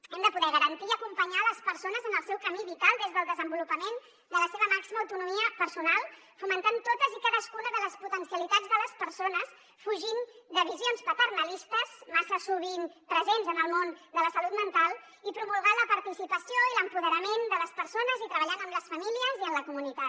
hem de poder garantir i acompanyar les persones en el seu camí vital des del desenvolupament de la seva màxima autonomia personal fomentant totes i cadascuna de les potencialitats de les persones fugint de visions paternalistes massa sovint presents en el món de la salut mental i promulgant la participació i l’empoderament de les persones i treballant amb les famílies i amb la comunitat